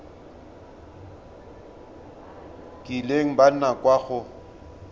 kileng ba nna kwa go